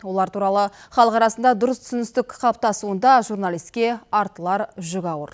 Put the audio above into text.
олар туралы халық арасында дұрыс түсіністік қалыптасуында журналиске артылар жүк ауыр